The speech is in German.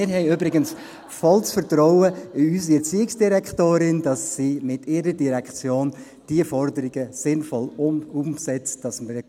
Wir haben übrigens volles Vertrauen in unsere Erziehungsdirektorin, dass sie mit ihrer Direktion diese Forderungen sinnvoll umsetzt, sodass wir …